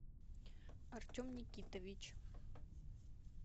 артем никитович